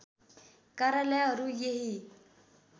कार्यालयहरू यही